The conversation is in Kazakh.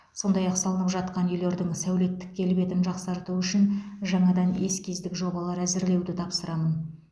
сондай ақ салынып жатқан үйлердің сәулеттік келбетін жақсарту үшін жаңадан эскиздік жобалар әзірлеуді тапсырамын